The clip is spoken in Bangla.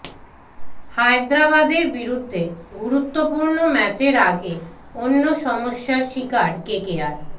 হায়দরাবাদের বিরুদ্ধে গুরুত্বপূর্ণ ম্যাচের আগে অন্য সমস্যার শিকার কেকেআর